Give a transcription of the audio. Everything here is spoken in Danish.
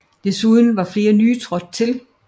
Desuden var flere nye trådt til